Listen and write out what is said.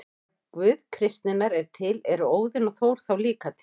Ef Guð kristninnar er til, eru Óðinn og Þór þá líka til?